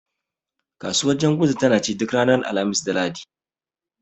Kasuwar janguza tana ci duk ranar Alhamis da Lahadi.